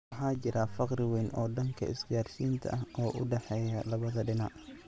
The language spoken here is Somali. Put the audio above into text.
Waxaa jira farqi weyn oo dhanka isgaarsiinta ah oo u dhexeeya labada dhinac.